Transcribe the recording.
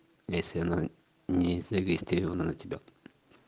если она не зарегистрирована на тебя